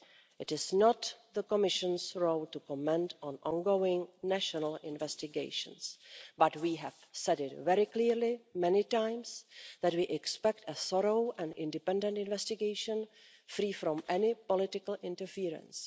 It is not the Commission's role to comment on ongoing national investigations, but we have said very clearly, many times, that we expect a thorough and independent investigation, free from any political interference.